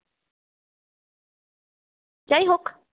যাই হোক,